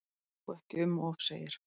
Þó ekki um of segir